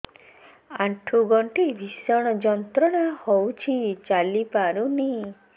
ଆଣ୍ଠୁ ଗଣ୍ଠି ଭିଷଣ ଯନ୍ତ୍ରଣା ହଉଛି ଚାଲି ପାରୁନି